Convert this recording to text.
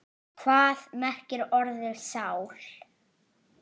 Hvað merkir orðið sál?